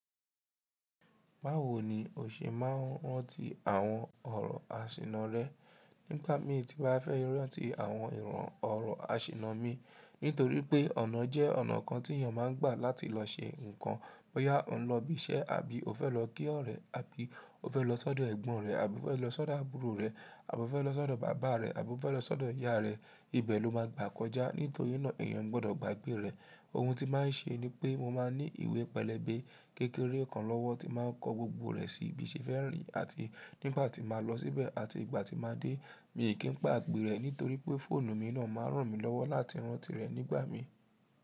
Báwo ni o ṣe máa ń rántí àwọn ọ̀rọ̀ àsìnà rẹ? Nígba mi ti báa fẹ́ rántí àwọn ìran ọ̀rọ̀ àsìnà mi. Nítorí pé ọ̀nà jẹ́ ọ̀nà kan tí èèyàn máa ń gbà láti lọ ṣe nǹkan. Bóyá ọ ń lọ ibi iṣẹ́ àbí o fẹ́ lọ kí ọ̀rẹ́ rẹ àbí o fẹ́ lọ sọ́dọ̀ ẹ̀gbọ́n rẹ àbí o fẹ́ lọ sọ́dọ̀ àbúrò rẹ àbí o fẹ́ lọ sọ́dọ̀ bàbá rẹ àbí o fẹ́ lọ sọ́dọ̀ ìyá rẹ, ibẹ̀ ló máa gbà kọjá. Nítorí náà èèyàn gbọdọ̀ gba àgbé rẹ̀. Ohun tí máa ń ṣe ni pé mo máa ní ìwé pẹlẹbẹ kékeré kan lọ́wọ́ tí máa ń kọ gbogbo rẹ̀ sí i bí ṣe fẹ́ rìn àti nígbà tí màá lọ síbẹ̀ àti ìgbà tí màá dé. Mi kì í pàgbè rẹ̀ nítorí pé fóònù mi náà máa ràn mí lọ́wọ́ láti rántí rẹ̀ nígbà mí.